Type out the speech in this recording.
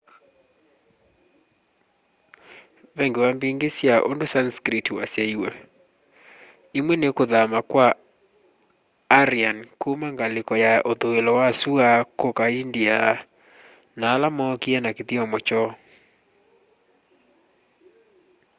ve ngewa mbingi sya undu sanskrit wasyaiwe imwe ni kuthama kwa aryan kuma ngaliko ya uthuilo wa sua kuka india na ala mookie na kithyomo kyoo